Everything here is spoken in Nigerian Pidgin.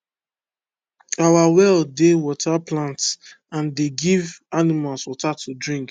our well dey water plants and dey give animals water to drink